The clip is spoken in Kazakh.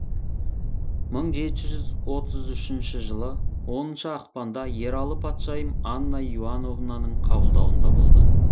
мың жеті жүз отыз үшінші жылы оныншы ақпанда ералы патшайым анна иоановнаның қабылдауында болды